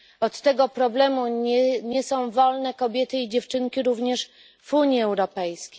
Od tego problemu nie są wolne kobiety i dziewczynki również w Unii Europejskiej.